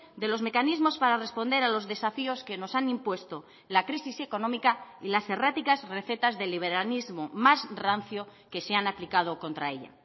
de los mecanismos para responder a los desafíos que nos han impuesto la crisis económica y las erráticas recetas de liberalismo más rancio que se han aplicado contra ella